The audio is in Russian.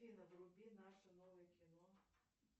афина вруби наше новое кино